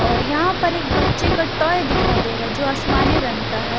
और यहाँ पर एक बच्चे का टॉय दिखाई दे रहा है जो आसमानी रंग का है ।